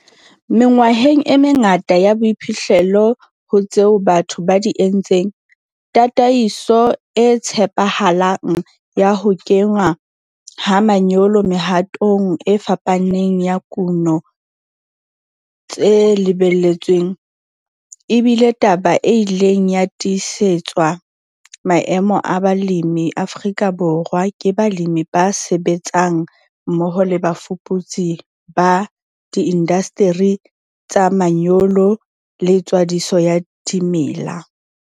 Mengwaheng e mengata ya boiphihlelo ho tseo batho ba di entseng, tataiso e tshepahalang ya ho kenngwa ha manyolo mehatong e fapaneng ya kuno tse lebelletsweng, e bile taba e ileng ya tiisetswa maemo a balemi Afrika Borwa ke balemi ba sebetsang mmoho le bafuputsi ba diindasteri tsa manyolo le tswadiso ya dimela.